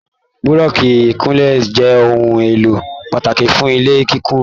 Búrọ́sì ikúnlé jẹ ohùn èlò pàtàkì fún ilé kíkún.